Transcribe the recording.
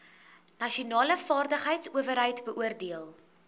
nasionale vaardigheidsowerheid beoordeel